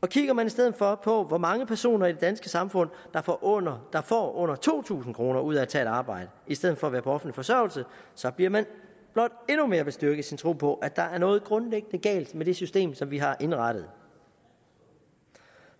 og kigger man i stedet for på hvor mange personer i det danske samfund der får under får under to tusind kroner ud af at tage et arbejde i stedet for at være på offentlig forsørgelse så bliver man blot endnu mere bestyrket i sin tro på at der er noget grundlæggende galt med det system som vi har indrettet